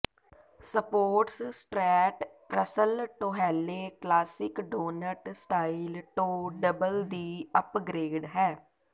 ਸਪੋਰਟਸਟ strat Russell ਟੌਹੈਲੇ classic donut style toe double ਦੀ upgrade ਹੈ